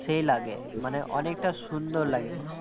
সেই লাগে মানে অনেকটা সুন্দর লাগে